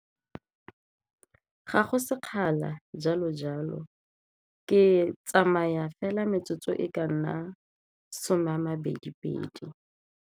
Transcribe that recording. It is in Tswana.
Ga go sekgala jalo-jalo ke tsamaya fela metsotso e ka nna some a mabedi pedi.